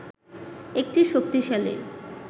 একটি শক্তিশালী